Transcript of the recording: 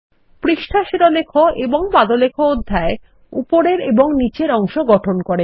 পৃষ্ঠা শিরোলেখ এবং পাদলেখঅধ্যায় উপরের এবং নীচের অংশ গঠন করে